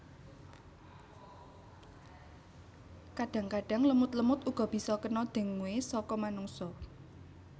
Kadang kadang lemut lemut uga bisa kena dengue saka manungsa